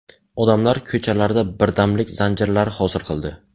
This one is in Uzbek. Odamlar ko‘chalarda birdamlik zanjirlari hosil qildi.